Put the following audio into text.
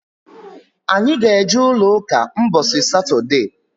Anyị ga eje ụlọ ụka mbosi satode